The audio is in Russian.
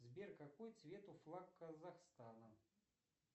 сбер какой цвет у флаг казахстана